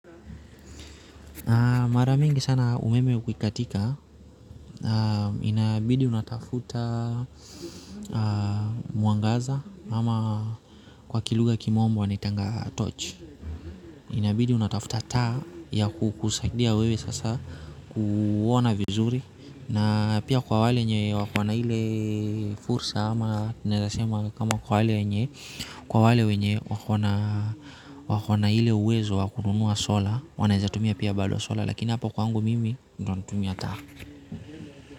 Mara nyingi sana umeme ukikatika inabidi unatafuta mwangaza ama kwa lugha ya kimombo wanaita tochi inabidi una tafuta taa ya kukusaidia wewe sasa kuona vizuri na pia kwa wale wenye wakona ile fursa ama kwa wale wenye wako na ile uwezo wa kununua sola wanaweza kutumia pia bado sola, lakini hapo kwangu mimi ndiyo natumia taa.